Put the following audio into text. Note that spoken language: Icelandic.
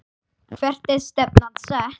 Hvert er stefnan sett?